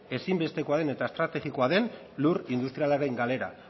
ezinbestekoa den eta estrategikoa den lur industrialaren galera